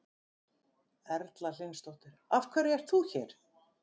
Erla Hlynsdóttir: Af hverju ert þú hér?